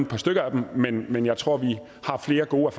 par stykker af dem men men jeg tror vi har flere gode